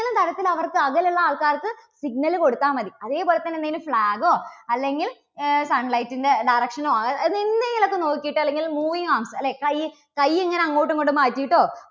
ങ്കിലും തരത്തിൽ അവർക്ക് അകലെയുള്ള ആൾക്കാർക്ക് signal കൊടുത്താൽ മതി, അതേപോലെ തന്നെ എന്തെങ്കിലും flag ഓ അല്ലെങ്കിൽ ആഹ് sunlight ന്റ direction ഓ അത് എന്തെങ്കിലും ഒക്കെ നോക്കിയിട്ട് അല്ലെങ്കിൽ moving arms അല്ലേ കൈ, കൈ ഇങ്ങനെ അങ്ങോട്ടാ ഇങ്ങോട്ടാ മാറ്റിയിട്ടോ